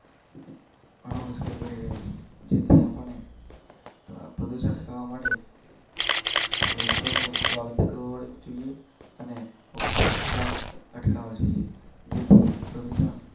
ઘણા મુશ્કેલ બની રહે છે. પરસેંટ કરવા માટે વૃક્ષોનું વાવેતર કરવું જોઈએ અને. કાજી.